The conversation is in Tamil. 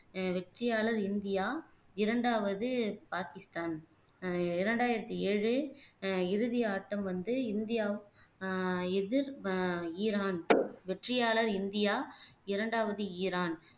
ஆஹ் வெற்றியாளர் இந்தியா இரண்டாவது பாகிஸ்தான் ஆஹ் இரண்டாயிரத்தி ஏழு ஆஹ் இறுதி ஆட்டம் வந்து இந்தியா ஆஹ் எதிர் ஆஹ் ஈரான் வெற்றியாளர் இந்தியா இரண்டாவது ஈரான்